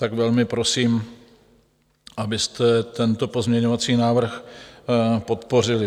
Tak velmi prosím, abyste tento pozměňovací návrh podpořili.